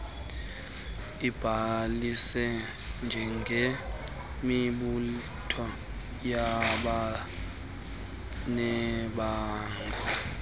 ibhalise njengemibutho yabanebango